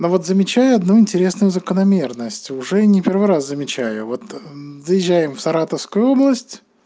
да вот замечаю одну интересную закономерность уже не первый раз замечаю вот доезжаем в саратовскую область